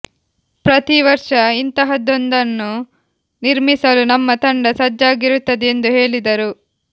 ಪ್ರತಿ ವರ್ಷ ಇಂತಹದೊಂದನ್ನು ನಿರ್ಮಿಸಲು ನಮ್ಮ ತಂಡ ಸಜ್ಜಾಗಿರುತ್ತದೆ ಎಂದು ಹೇಳಿದರು